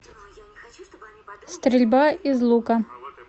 стрельба из лука